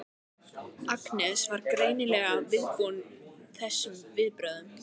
Agnes var greinilega viðbúin þessum viðbrögðum.